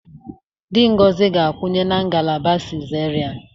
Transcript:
Di Ngozi ga-ekwenye na ngalaba cesarean